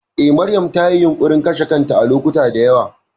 Eh, Maryam tayi yunƙurin kashe kanta a lokacuta da yawa.